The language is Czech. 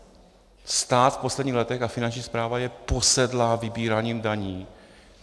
Stát v posledních letech a Finanční správa je posedlá vybíráním daní.